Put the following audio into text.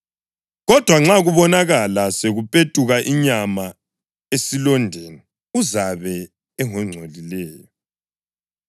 Kodwa nxa kubonakala sekupetuka inyama esilondeni uzabe engongcolileyo.